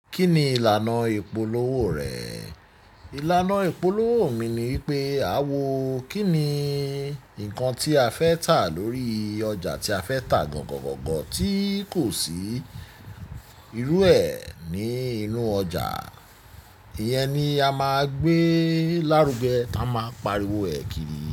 Kí ni ìlànà ìpolówó rẹ? Ìlànà ìpolówó mi ni wipé àwọ̀ kí ni nǹkan tí a fẹ́ tà lórí ọjà tí a fẹ́ tà gangan gangan tí kò sí irú ẹ ní inú ọjà, ìyẹn ni a máa gbé lárugẹ ta a máa pariwo ẹ̀ kiri.